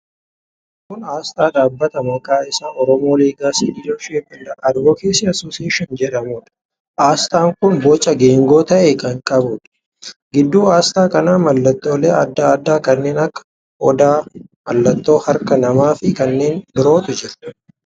Kun aasxaa dhaabbata maqaan isaa 'Oromo Legacy Leadership & Advocacy Association' jedhamuudha. Aasxaan kun boca geengoo ta'e kan qabuudha. Gidduu aasxaa kanaa mallattoolee addaa addaa kanneen akka: odaa, mallattoo harka namaa fi kanneen birootu jira.